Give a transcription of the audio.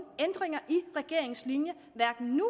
ændringer i regeringens linje hverken nu